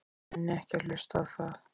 Ég nenni ekki að hlusta á það.